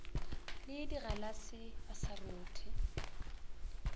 le digalase ba sa rothe